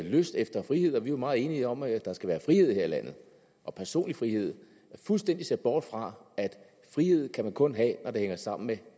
lyst efter frihed og vi er jo meget enige om at der skal være frihed her i landet og personlig frihed fuldstændig ser bort fra at frihed kan man kun have når det hænger sammen med